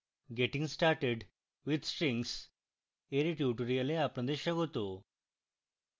getting started with strings এর tutorial আপনাদের স্বাগত